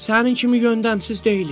Sənin kimi göndəmsiz deyilik.